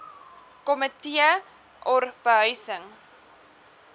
komitee or behuising